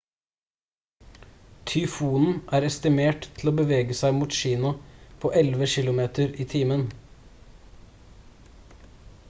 tyfonen er estimert til å bevege seg mot kina på 11 kilometer i timen